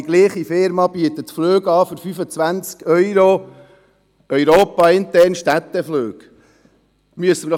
Dieselbe Firma bietet jedoch europainterne Städteflüge für 25 Euro an.